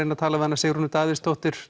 tala við hana Sigrúnu Davíðsdóttur